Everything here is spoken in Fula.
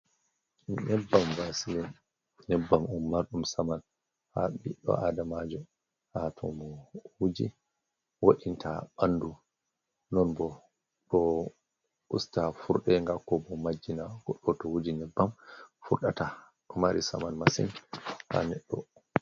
Nyebbam vasilin, nyebbam on marɗum saman ha biɗɗo adamajo, ha tomo wuji, wo'inta ɓandu non bo usta furɗego, ko ɓo majinna goɗɗo to wuji nyeɓɓam furɗata ɗo mari saman masin ha neddo.